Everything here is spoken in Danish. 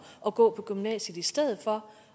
og gå på gymnasiet i stedet for